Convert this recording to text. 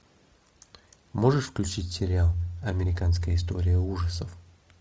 можешь включить сериал американская история ужасов